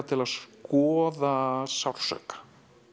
til að skoða sársauka